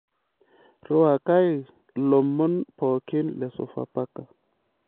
ruwakai lomon pokin le sofapaka